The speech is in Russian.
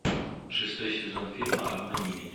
шестой сезон фильма обмани меня